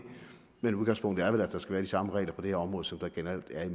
men udgangspunktet er vel at der skal være de samme regler på det her område som der generelt er i